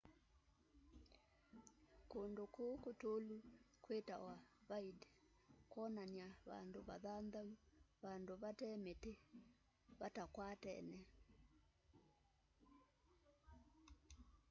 kundũ kũu kutũlu kwitawa vidde kwonania vandũ vathanthaũ vandũ vate miti vatakwatene